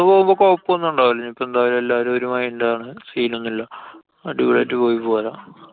പോവുമ്പോ കൊഴപ്പോന്നും ഉണ്ടാവില്ല. ഞ്ഞിപ്പോ എന്താ എല്ലാരും ഒരു mind ആണ്. scene ഒന്നുല്ല്യാ. അടിപൊളി ആയിട്ട് പോയി പോരാം.